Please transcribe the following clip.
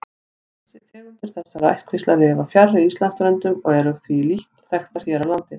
Tegundir þessara ættkvísla lifa fjarri Íslandsströndum og eru því lítt þekktar hér á landi.